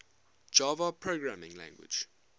java programming language